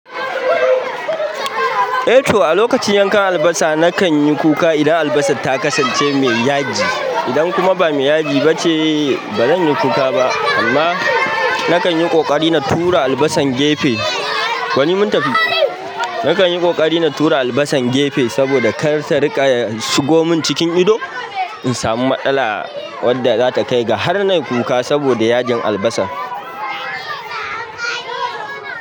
Eh to, a lokacin yanka albasa, na kan yi kuka idan albasa ta kasance mai yaji. Idan kuma ba mai yaji bace ba zanyi kuka ba amma na kan yi ƙoƙari na tura albasan gefe. Wani mun tafi. Nakan yi ƙoƙari na tura albasan gefe saboda karta rinƙa shigo min cikin ido in samu matsala wanda zata kai ga har nayi kuka saboda yajin albasan.